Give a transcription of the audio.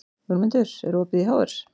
Jómundur, er opið í HR?